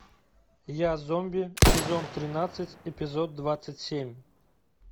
я зомби сезон тринадцать эпизод двадцать семь